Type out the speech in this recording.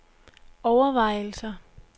overvejelser